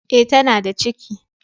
Eh tana da ciki.